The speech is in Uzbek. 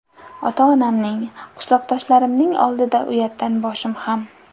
Ota-onamning, qishloqdoshlarimning oldida uyatdan boshim ham.